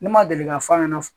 Ne ma deli ka f'a ɲɛna